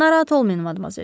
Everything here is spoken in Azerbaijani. Narahat olmayın, madmazel.